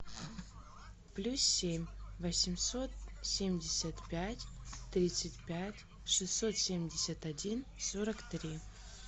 плюс семь восемьсот семьдесят пять тридцать пять шестьсот семьдесят один сорок три